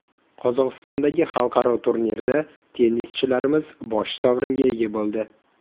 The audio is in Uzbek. Qozog‘istondagi xalqaro turnirda tennischilarimiz bosh sovringa ega bo‘ldi.